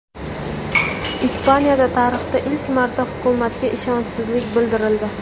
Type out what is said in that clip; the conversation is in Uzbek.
Ispaniyada tarixda ilk marta hukumatga ishonchsizlik bildirildi.